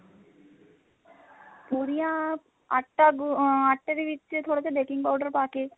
ਪੁਰੀਆਂ ਆਟਾ ਗੁੰਨ ਅਹ ਆਟੇ ਦੇ ਵਿੱਚ ਥੋੜਾ ਜਾ baking powder ਪਾਕੇ